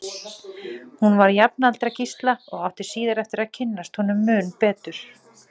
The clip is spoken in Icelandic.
Hún var jafnaldra Gísla og átti síðar eftir að kynnast honum mun betur.